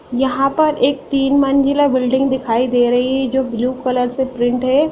यहाँ पर एक तीन मंजिला बिल्डिंग दिखाई दे रही है जो ब्लू कलर से प्रिंट है।